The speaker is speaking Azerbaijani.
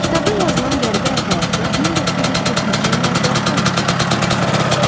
Kitabda yazılan qəribə əhvalatlar 1940-cı illərdə Oran şəhərində baş verib.